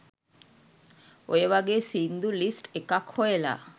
ඔය වගේ සිංදු ලිස්ට් එකක් හොයලා